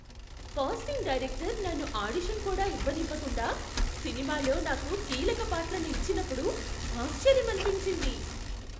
Casting director నన్ను audition కూడా ఇవ్వనివ్వకుండా, సినిమాలో నాకు కీలక పాత్రను ఇచ్చినప్పుడు ఆశ్చర్యమనిపించింది.